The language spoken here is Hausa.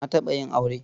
Na taɓa yin aure.